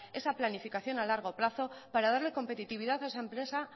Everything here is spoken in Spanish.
esa planificación a largo plazo para darle competitividad a esa empresa